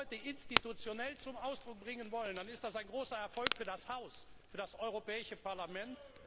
Wenn wir das heute institutionell zum Ausdruck bringen wollen, dann ist das ein großer Erfolg für das Europäische Parlament.